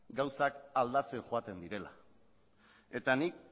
gauzak aldatzen joaten direla eta hori